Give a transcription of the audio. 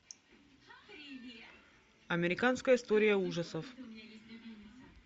американская история ужасов